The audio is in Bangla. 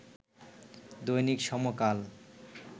দৈনিক সমকাল